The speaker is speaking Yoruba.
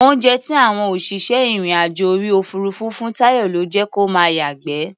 Oúnjẹ tí àwọn òṣìṣẹ́ ìrìn-àjò orí òfuurufú fún Táyọ̀ ló jẹ́ kó máa yàgbẹ́.